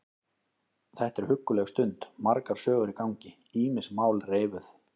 Þetta er hugguleg stund, margar sögur í gangi, ýmis mál reifuð.